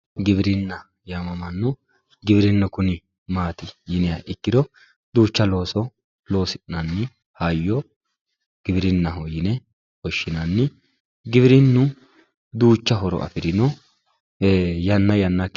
giwirinna yaamamanno gieirinnu kuni maati yiniha ikkiro duucha looso loosi'nanni hayyo giwirinnaho yine woshshinanni giwirinnu duucha horo afirino ee yanna yannate.